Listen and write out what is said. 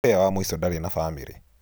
Ũrĩa wa mũico ndarĩ na bamĩrĩ.